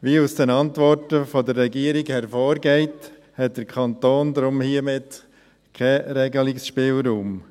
Wie aus den Antworten der Regierung hervorgeht, hat der Kanton daher hier keinen Regelungsspielraum.